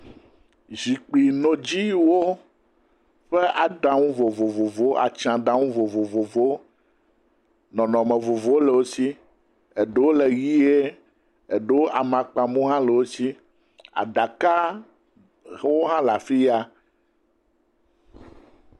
Zikpuinɔdziwo ƒe aɖaŋu vovovowo, atsɛ̃a ɖaŋu vovovowo. Nɔnɔme vovovowo le wo si, eɖewo le ʋie, eɖewo amakpamu hã le wo si. Aɖawo hã le afiya.